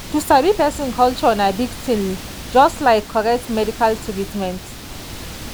sabi person culture na big thing just like correct medical treatment.